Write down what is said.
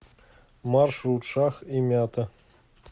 маршрут шах и мята